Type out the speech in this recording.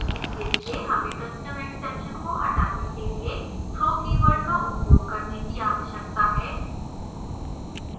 इसके लिए हमें custom exception को हटाने के लिए throw keyword का उपयोग करने की आवश्यकता है